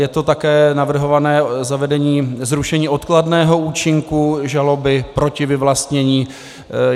Je to také navrhované zavedení zrušení odkladného účinku žaloby proti vyvlastnění.